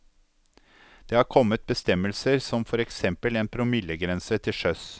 Det har kommet bestemmelser som for eksempel en promillegrense til sjøs.